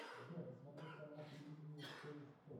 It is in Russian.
сбер посмотреть канал телевидения кто есть кто